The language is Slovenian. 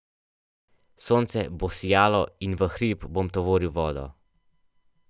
Sonce bo sijalo in v hrib bom tovoril vodo.